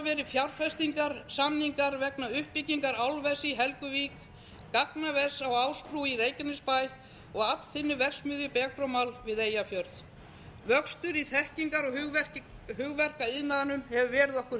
verið fjárfestingarsamningar vegna uppbyggingar álvers í helguvík gagnavers á ásbrú í reykjanesbæ og aflþynnuverksmiðju becromals við eyjafjörð vöxtur í þekkingar og hugverkaiðnaðinum hefur verið okkur